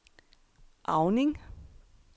Auning